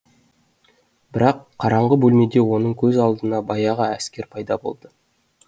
бірақ қараңғы бөлмеде оның көз алдында баяғы әскер пайда болды